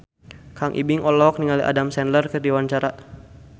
Kang Ibing olohok ningali Adam Sandler keur diwawancara